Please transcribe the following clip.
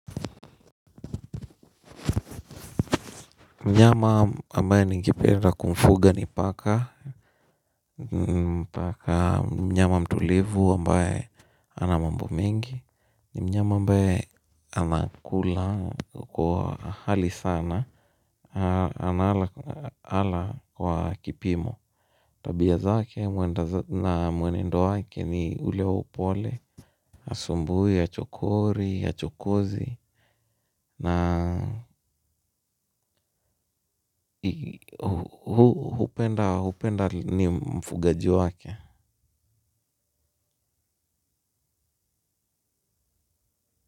Mnyama ambaye ni ngependa kumfuga ni paka mnyama mtulivu ambaye ana mambo mengi mnyama ambaye anakula kwa hali sana. Anala kwa kipimo tabia zake na mwenendo wake ni ule wa upole hasumbui, achokori, achokozi na na hupenda ni mfugaji wake.